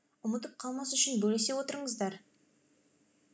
ұмытып қалмас үшін бөлісе отырыңыздар